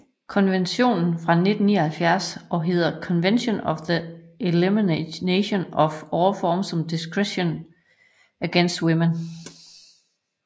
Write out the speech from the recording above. Konventionen er fra 1979 og hedder Convention on the Elimination of All Forms of Discrimination against Women